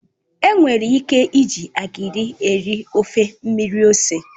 Enwere ike iji agidi rie ofe mmiri ose.